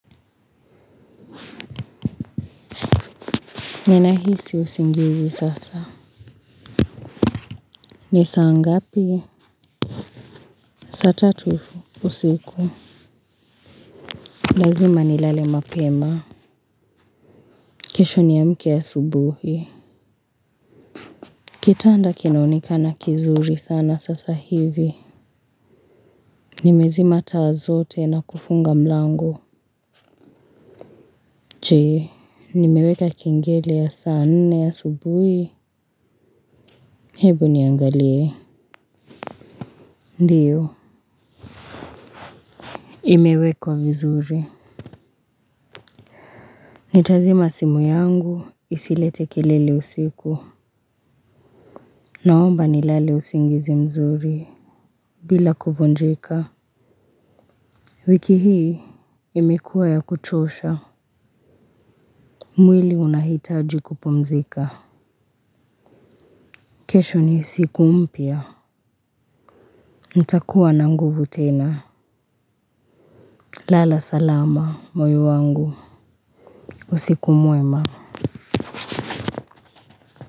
Nina hisi usingizi sasa ni saa ngapi saa tatu usiku lazima nilale mapema. Kesho niamke asubuhi. Kitanda kinaonekana kizuri sana sasa hivi. Nimezima taa zote na kufunga mlango jee. Nimeweka kengele ya saa nne asubuhi. Hebu niangalie. Ndio. Imewekwa vizuri. Nitazima simu yangu. Isilete kelele usiku. Naomba ni lale usingizi mzuri bila kuvunjika. Wiki hii imekuwa ya kuchosha. Mwili unahitaji kupumzika. Kesho ni siku mpya nitakua na nguvu tena. Lala salama moyo wangu. Usiku mwema.